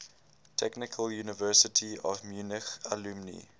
technical university of munich alumni